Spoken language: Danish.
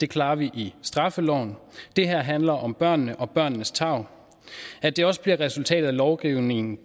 klarer vi i straffeloven det her handler om børnene og børnenes tarv at det også bliver resultatet af lovgivningen